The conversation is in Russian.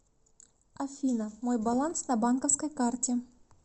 афина мой баланс на банковской карте